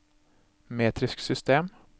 metrisk system